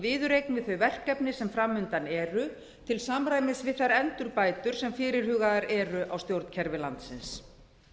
viðureign við þau verkefni sem fram undan eru til samræmis við þær endurbætur sem fyrirhugaðar eru á stjórnkerfi landsins